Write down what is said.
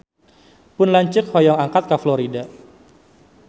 Pun lanceuk hoyong angkat ka Florida